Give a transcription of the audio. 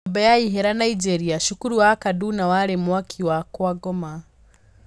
Nyumba ya ihera Nigeria: Cukuru wa Kaduna wari "Mwaki wa kwa Ngoma"